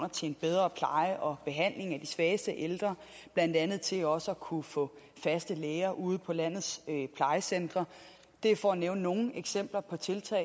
til en bedre pleje og behandling af de svageste ældre blandt andet til også at kunne få faste læger ude på landets plejecentre det er for at nævne nogle eksempler på tiltag